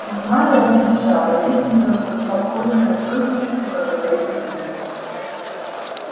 седьмая убежала и обиделся со спокойной настойчивостью проговорил билл